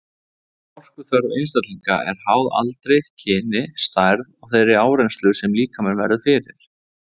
Orkuþörf einstaklinga er háð aldri, kyni, stærð og þeirri áreynslu sem líkaminn verður fyrir.